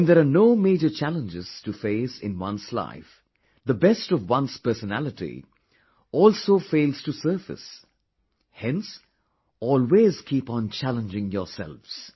When there are no major challenges to face in one's life, the best of one's personality also fails to surface hence always keep on challenging yourselves